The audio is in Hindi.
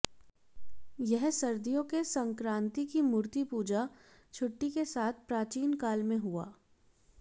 यह सर्दियों के संक्रांति की मूर्तिपूजा छुट्टी के साथ प्राचीन काल में हुआ